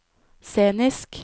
scenisk